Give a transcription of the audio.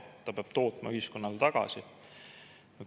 Ta peab tootma ühiskonnale tagasi.